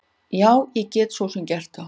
Já, ég get svo sem gert það.